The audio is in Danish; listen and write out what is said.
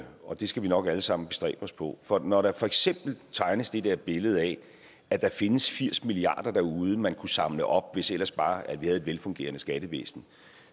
og det skal vi nok alle sammen bestræbe os på for når der for eksempel tegnes det der billede af at der findes firs milliard kroner derude man kunne samle op hvis vi ellers bare havde et velfungerende skattevæsen